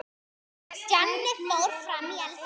Stjáni fór fram í eldhús.